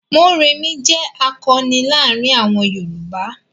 Mórèmí jẹ́ àkọni láàárin àwọn Yorùbá.